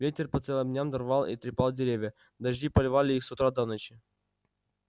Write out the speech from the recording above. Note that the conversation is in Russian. ветер по целым дням рвал и трепал деревья дожди поливали их с утра до ночи